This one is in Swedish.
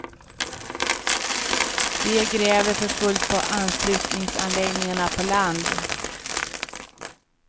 De gräver för fullt på anslutningsanläggningarna på land.